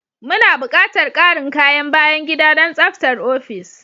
Muna buƙatar ƙarin kayan bayan gida don tsabtar ofis.